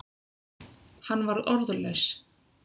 Hann var orðlaus.